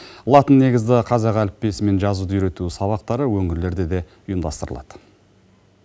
латын негізді қазақ әліппесімен жазуды үйрету сабақтары өңірлерде де ұйымдастырылады